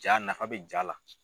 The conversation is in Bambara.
Jaa nafa bɛ jaa la.